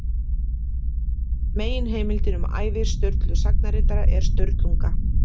Meginheimildin um ævi Sturlu sagnaritara er Sturlunga.